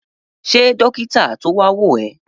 Ṣe dókítà to wa wo ẹ?